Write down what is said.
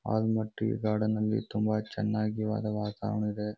ಅಗ್ಮಾಟ್ಟಿ garden ಅಲ್ಲಿ ತುಂಬ ಚೆನ್ನಾಗಿರುವ ವಾತಾವರಣ ಇದೆ.